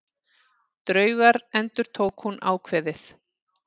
Draugar endurtók hún ákveðið.